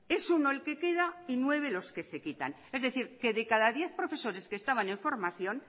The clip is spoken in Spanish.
es uno el que queda y nueve los que se quitan es decir que de cada diez profesores que estaban en formación